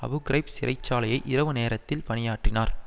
Abu Ghraib சிறை சாலையில் இரவு நேரத்தில் பணியாற்றினார்